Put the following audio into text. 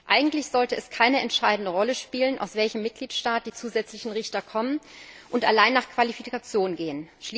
Eigentlich sollte es keine entscheidende Rolle spielen, aus welchem Mitgliedstaat die zusätzlichen Richter kommen, und Benennungen sollten allein nach Qualifikation gehen.